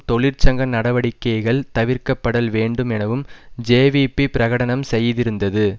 தொழிற்சங்க நடவடிக்கைகள் தவிர்க்கப்படல் வேண்டும் எனவும் ஜேவிபி பிரகடனம் செய்திருந்தது